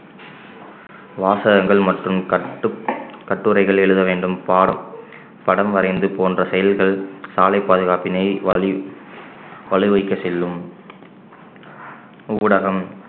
வாசகங்கள் மற்றும் கட்டுப்~ கட்டுரைகள் எழுத வேண்டும் பாடம் படம் வரைந்து போன்ற செயல்கள் சாலைப் பாதுகாப்பினை வலி~ வலுவைக்கச் செல்லும் ஊடகம்